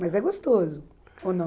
Mas é gostoso, ou não?